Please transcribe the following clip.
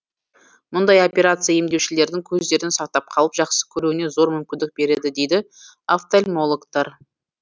мұндай операция емдеушілердің көздерін сақтап қалып жақсы көруіне зор мүмкіндік береді дейді офтальмологтар